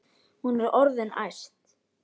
Hún er orðin æst.